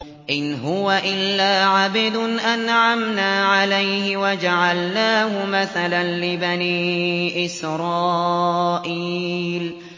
إِنْ هُوَ إِلَّا عَبْدٌ أَنْعَمْنَا عَلَيْهِ وَجَعَلْنَاهُ مَثَلًا لِّبَنِي إِسْرَائِيلَ